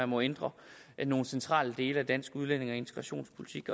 må ændre i nogle centrale dele af dansk udlændinge og integrationspolitik